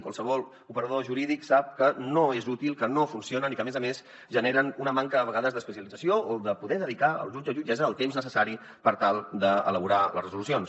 qualsevol operador jurídic sap que no és útil que no funcionen i que a més a més generen una manca a vegades d’especialització o de poder dedicar el jutge o jutgessa el temps necessari per tal d’elaborar les resolucions